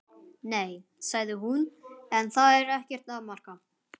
Nei, sagði hún, en það er ekkert að marka.